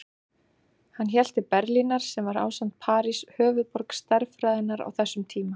Hann hélt til Berlínar sem var, ásamt París, höfuðborg stærðfræðinnar á þessum tíma.